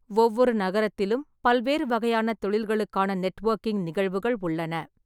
ஒவ்வொரு நகரத்திலும் பல்வேறு வகையான தொழில்களுக்கான நெட்வொர்க்கிங் நிகழ்வுகள் உள்ளன.